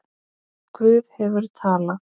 Guð hefur talað.